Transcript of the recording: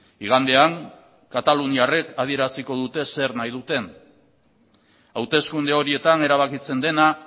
igandean kataluniarrek adieraziko dute zer nahi duten hauteskunde horietan erabakitzen dena